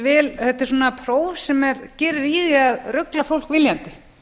þetta er svona próf sem gerir í því að rugla fólk viljandi